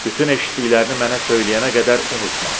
Bütün eşitdiklərini mənə söyləyənə qədər unutma.